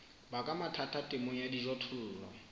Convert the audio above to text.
baka mathata temong ya dijothollo